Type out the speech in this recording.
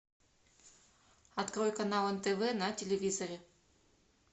открой канал нтв на телевизоре